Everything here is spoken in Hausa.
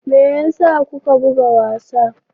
Me yasa kuka buga wasa?